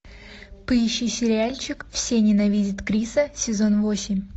поищи сериальчик все ненавидят криса сезон восемь